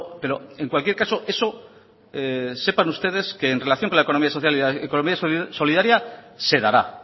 pero en cualquier caso eso sepan ustedes que en relación con la economía social y la economía solidaria se dará